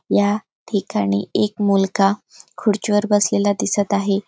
या ठिकाणी एक मुलगा खुर्ची वर बसलेला दिसत आहे.